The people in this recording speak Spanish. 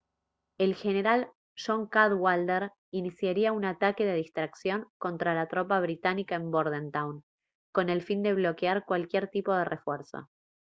el general john cadwalder iniciaría un ataque de distracción contra la tropa británica en bordentown con el fin de bloquear cualquier tipo de refuerzo